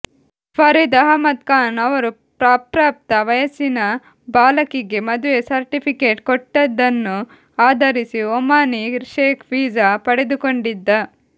ಫರೀದ್ ಅಹ್ಮದ್ ಖಾನ್ ಅವರು ಅಪ್ರಾಪ್ತ ವಯಸ್ಸಿನ ಬಾಲಕಿಗೆ ಮದುವೆ ಸರ್ಟಿಫಿಕೇಟ್ ಕೊಟ್ಟದ್ದನ್ನು ಆಧರಿಸಿ ಓಮಾನೀ ಶೇಖ್ ವೀಸಾ ಪಡೆದುಕೊಂಡಿದ್ದ